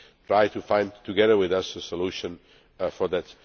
try to find together with us a solution to that.